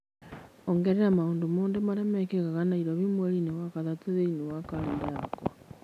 ongerera maũndũ mothe marĩa mekĩka Nairobi mweri-inĩ wa gatatũ thĩinĩ wa kalendarĩ yakwa